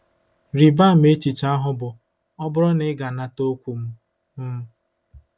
Rịba ama echiche ahụ bụ́ “ ọ bụrụ na ị ga-anata okwu m. m.